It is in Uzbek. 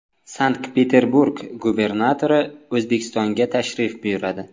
Sankt-Peterburg gubernatori O‘zbekistonga tashrif buyuradi.